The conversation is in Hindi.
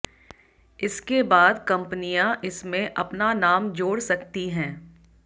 इसके बाद कंपनियां इसमें अपना नाम जोड़ सकती हैं